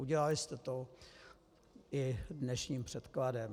Udělali jste to i dnešním předkladem.